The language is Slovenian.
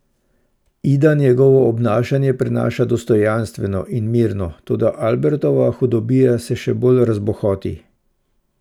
Ida njegovo obnašanje prenaša dostojanstveno in mirno, toda Albertova hudobija se še bolj razbohoti.